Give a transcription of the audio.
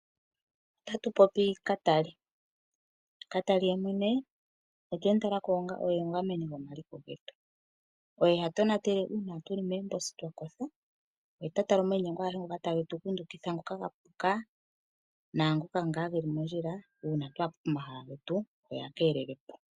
Otatu popi katali. Katali yemwene otwe mu talako onga omugameni gwomaliko getu. Oye ha tonatele uuna tu li moomposi twa kotha, oye ota yala omainyengo agehee ngoka ta ge tu kundukidha uuna twa kotha, naangoka ge li mondjila, uuna twa he po pomahala getu oye ha keelele po.